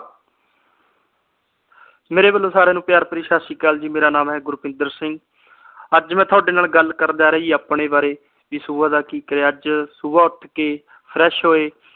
ਮੇਰੇ ਵੱਲੋ ਸਾਰਿਆਂ ਨੂੰ ਪਿਆਰ ਭਰੀ ਸਤਿ ਸ਼੍ਰੀ ਅਕਾਲ ਜੀ ਮੇਰਾ ਨਾਮ ਹੈ ਗੁਰਪਿੰਦਰ ਸਿੰਘ ਅੱਜ ਮੈ ਤੁਹਾਡੇ ਨਾਲ ਗੱਲ ਕਰਨ ਜਾ ਰਹਿਆ ਜੀ ਆਪਣੇ ਬਾਰੇ ਵੀ ਸੁਬਹ ਦਾ ਕਿ ਕਰਿਆ ਅੱਜ ਸੁਬਹ ਉੱਠਕੇ ਫਰੈਸ਼ ਹੋਏ।